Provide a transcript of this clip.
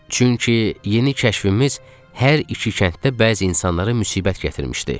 Çünki yeni kəşfimiz hər iki kənddə bəzi insanlara müsibət gətirmişdi.